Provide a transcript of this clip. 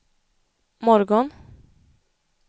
morgon